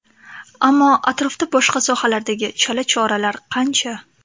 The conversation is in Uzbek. Ammo atrofda boshqa sohalardagi chala choralar qancha?